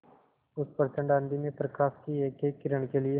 उस प्रचंड आँधी में प्रकाश की एकएक किरण के लिए